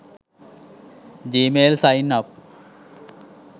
gmail sign up